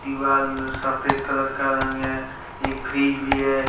दिवाल सफेद कलर का रंग है एक फ्रिज भी है।